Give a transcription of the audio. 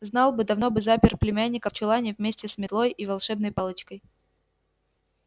знал бы давно бы запер племянника в чулане вместе с метлой и волшебной палочкой